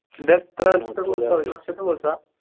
ഇത് എത്ര course ആ? ഒരു വർഷത്തെ course ആ?